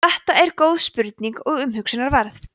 þetta er góð spurning og umhugsunarverð